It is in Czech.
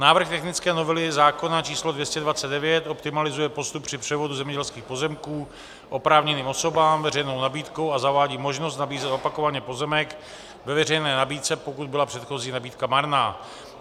Návrh technické novely zákona č. 229 optimalizuje postup při převodu zemědělských pozemků oprávněným osobám veřejnou nabídkou a zavádí možnost nabízet opakovaně pozemek ve veřejné nabídce, pokud byla předchozí nabídka marná.